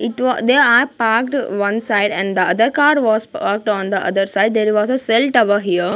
It wa they are parked one side and the other car was parked on the other side there was a cell tower here.